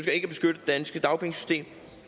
danske dagpengesystem